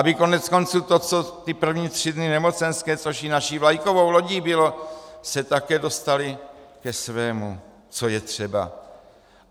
Aby koneckonců to, co ty první tři dny nemocenské, což i naší vlajkovou lodí bylo, se také dostaly ke svému, co je třeba.